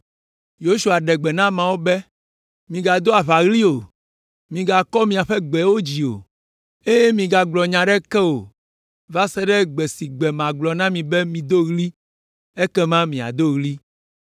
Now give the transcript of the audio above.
Yosua ɖe gbe na ameawo be, “Migado aʋaɣli o, migakɔ miaƒe gbewo dzi o, eye migagblɔ nya aɖeke o va se ɖe gbe si gbe magblɔ na mi be mido ɣli, ekema miado ɣli!”